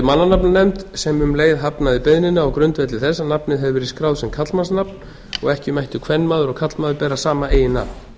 mannanafnanefnd sem um leið hafnaði beiðninni á grundvelli þess að nafnið hefði verið skráð sem karlmannsnafn og ekki mættu kvenmaður og karlmaður bera sama eiginnafn